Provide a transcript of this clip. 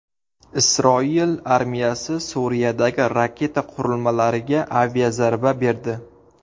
Isroil armiyasi Suriyadagi raketa qurilmalariga aviazarba berdi.